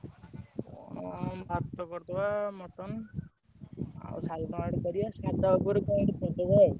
କଣ ଭାତ କରି ଦବା mutton ଆଉ salad ମାଲାଡ କରିଆ। ସାଧା ଉପରେ କଣ ଗୋଟେ କରିଦବା ଆଉ।